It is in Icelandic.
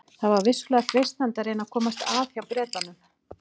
Það var vissulega freistandi að reyna að komast að hjá Bretanum.